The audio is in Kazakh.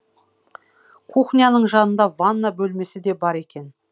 кухняның жанында ванна бөлмесі де бар екен